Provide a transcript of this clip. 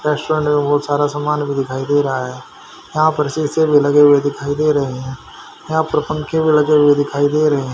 Restaurant में बहुत सारा सामान भी दिखाई दे रहा है यहां पर शीशे भी लगे हुए दिखाई दे रहे हैं यहां पर पंखे भी लगे हुए दिखाई दे रहे हैं।